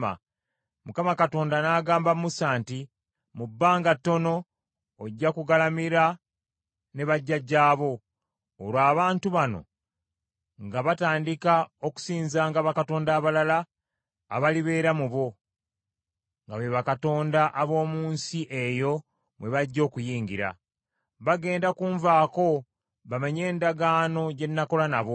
Mukama Katonda n’agamba Musa nti, “Mu bbanga ttono ojja kugalamira ne bajjajjaabo. Olwo abantu bano nga batandika okusinzanga bakatonda abalala abalibeera mu bo, nga be bakatonda ab’omu nsi eyo mwe bajja okuyingira. Bagenda kunvaako bamenye endagaano gye nakola nabo.